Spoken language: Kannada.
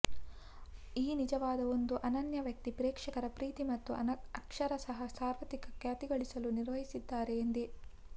ಈ ನಿಜವಾಗಿ ಒಂದು ಅನನ್ಯ ವ್ಯಕ್ತಿ ಪ್ರೇಕ್ಷಕರ ಪ್ರೀತಿ ಮತ್ತು ಅಕ್ಷರಶಃ ಸಾರ್ವತ್ರಿಕ ಖ್ಯಾತಿ ಗಳಿಸಲು ನಿರ್ವಹಿಸಿದ್ದಾರೆ ಇದೆ